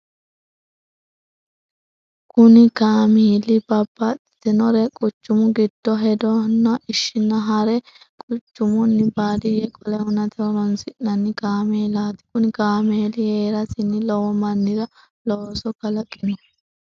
Kuni kamili babtitinore quchumu gido hedano ishina hare quchumuni badiye qole hunate horonsinani kamelati kuni kameli herasini lowo manira looso kalakino